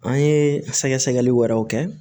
An ye sɛgɛsɛgɛli wɛrɛw kɛ